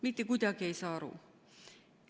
Mitte kuidagi ei saa aru.